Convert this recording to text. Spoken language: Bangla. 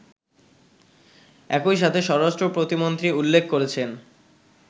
একইসাথে স্বরাষ্ট্রপ্রতিমন্ত্রী উল্লেখ করেছেন